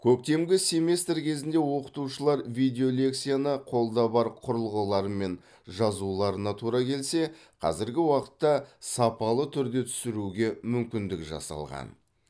көктемгі семестр кезінде оқытушылар видео лекцияны қолда бар құрылғыларымен жазуларына тура келсе қазіргі уақытта сапалы түрде түсіруге мүмкіндік жасалған